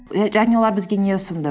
е және олар бізге не ұсынды